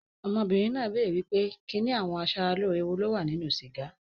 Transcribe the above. Ọmọbìnrin náà béèrè wípé kinni àwọn a sára lóore wo ni ó wà ní inú sìgá.